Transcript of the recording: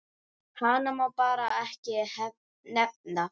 Hana má bara ekki nefna.